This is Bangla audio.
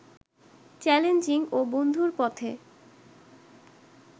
চ্যালেঞ্জিং ও বন্ধুর পথে